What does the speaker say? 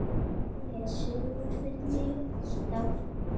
Les sögur fyrir mig.